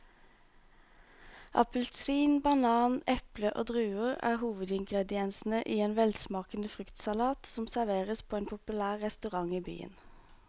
Appelsin, banan, eple og druer er hovedingredienser i en velsmakende fruktsalat som serveres på en populær restaurant i byen.